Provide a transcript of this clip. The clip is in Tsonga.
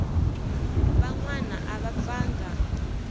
van wana a va pfanga